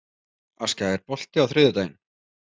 Askja, er bolti á þriðjudaginn?